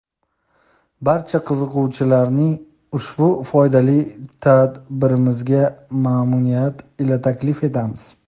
Barcha qiziquvchilarni ushbu foydali tadbirimizga mamnuniyat ila taklif etamiz.